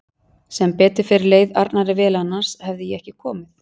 Sem betur fer leið Arnari vel annars hefði ég ekki komið